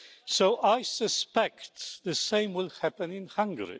So I suspect the same will happen in Hungary.